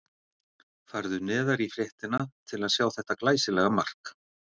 Farðu neðar í fréttina til að sjá þetta glæsilega mark.